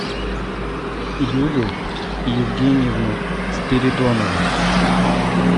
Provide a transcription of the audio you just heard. юлю евгеньевну спиридонову